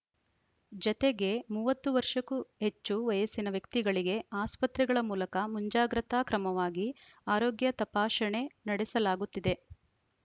ಜತೆಗೆ ಮೂವತ್ತು ವರ್ಷಕ್ಕೂ ಹೆಚ್ಚು ವಯಸ್ಸಿನ ವ್ಯಕ್ತಿಗಳಿಗೆ ಆಸ್ಪತ್ರೆಗಳ ಮೂಲಕ ಮುಂಜಾಗ್ರತಾ ಕ್ರಮವಾಗಿ ಆರೋಗ್ಯ ತಪಾಶಣೆ ನಡೆಸಲಾಗುತ್ತಿದೆ